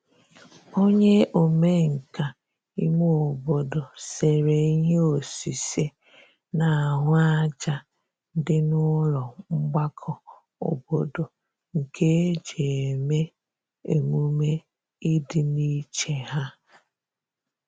onye omenka ime obodo sere ihe osise n'ahu aja di n'ulo mgbako obodo nke eji eme -emume idi n'iche ha